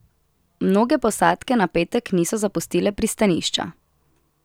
Mnoge posadke na petek niso zapustile pristanišča.